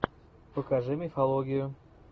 покажи мифологию